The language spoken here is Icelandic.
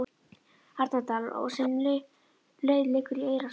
Arnardal og sem leið liggur í Eyrarsveit.